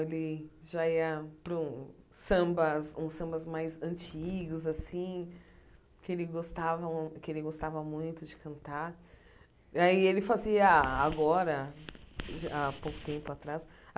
Ele já ia para um samba uns sambas mais antigos assim, que ele gostavam que ele gostava muito de cantar. Aí ele fazia agora a pouco tempo atrás